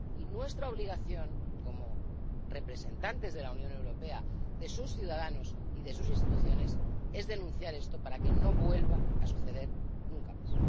y nuestra obligación, como representantes de la Unión Europea, de sus ciudadanos y de sus instituciones, es denunciar esto para que no vuelva a suceder nunca más.